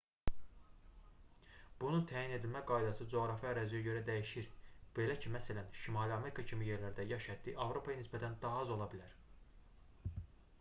bunun təyin edilmə qaydası coğrafi əraziyə görə dəyişir belə ki məsələn şimali amerika kimi yerlərdə yaş həddi avropaya nisbətən daha az ola bilər